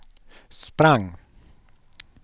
sprang